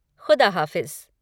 खुदा हाफ़िज़।